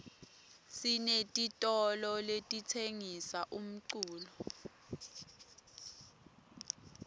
sinetitolo letitsengisa umculo